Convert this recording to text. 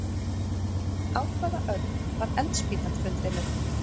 Á hvaða öld var eldspýtan fundin upp?